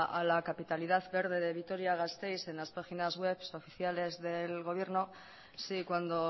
a la capitalidad verde de vitoria gasteiz en las páginas webs oficiales del gobierno si cuando